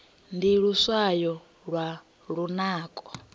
ndi luswayo lwa lunako